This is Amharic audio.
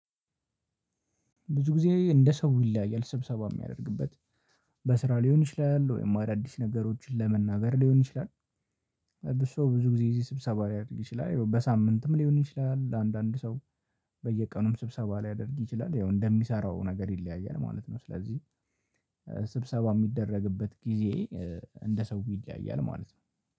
ብዙ ጊዜ እንደ ሰው ይለያያል ስብሰባ የሚያደርግበት በስራ ሊሆን ይችላል ወይም አዳዲስ ነገሮችን ለመናገር ሊሆን ይችላል። ብዙ ሰው ብዙ ጊዜ እዚህ ስብሰባ ሊያደርግ ይችላል በሳምንትም ሊሆን ይችላል አንዳንድ ሰው። በየቀኑም ስብሰባ ሊያደርግ ይችላል ያው እንደሚሰራው ነገር ይለያያል ማለት ነው። ስለዚህ ስብሰባ የሚደረግበት ጊዜ እንደ ሰው ይለያያል ማለት ነው